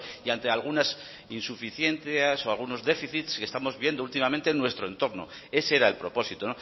y ante algunas insuficiencias o algún déficit que estamos viendo últimamente en nuestro entorno ese era el propósito